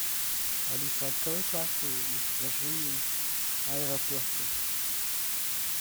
алиса открой карту и покажи аэропорты